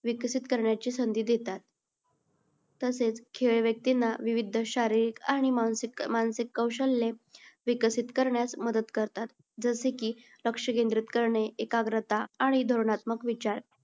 विकसित करण्याची संधी देतात. तसेच खेळ व्यक्तींना विविध शारीरिक आणि मानसिक कौशल्ये विकसित करण्यास मदत करतात. जसे की लक्ष केंद्रित करणे, एकाग्रता आणि धोरणात्मक विचार